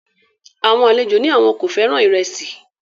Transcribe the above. Àwọn àlejò ní àwọn kò fẹ́ràn ìrẹsì